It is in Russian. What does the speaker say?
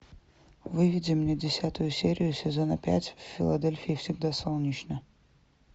выведи мне десятую серию сезона пять в филадельфии всегда солнечно